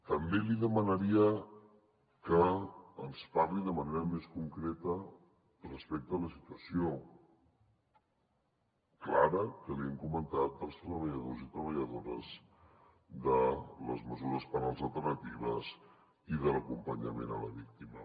també li demanaria que ens parli de manera més concreta respecte a la situació clara que li hem comentat dels treballadors i treballadores de les mesures penals alternatives i de l’acompanyament a la víctima